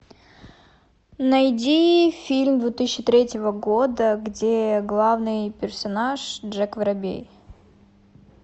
найди фильм две тысячи третьего года где главный персонаж джек воробей